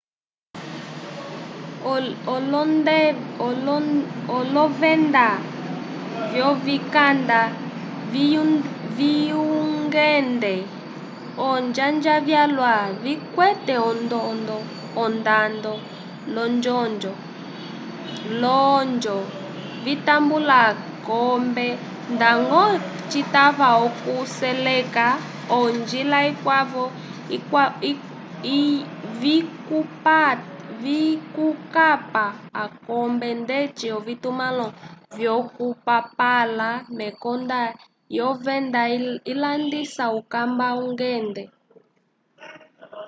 olovenda vyovikanda vyungende olonjanja vyalwa vikwete ondando l'olonjo vitambula akombe ndañgo citava okuseleka olonjila vikwavo vyokukapa akombe ndeci ovitumãlo vyokupapala mekonda lyovenda ilandisa ukanda wungende